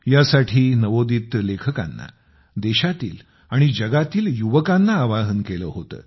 ह्या साठी नवोदित लेखकांना देशातील आणि जगातील युवकांना आवाहन केले होते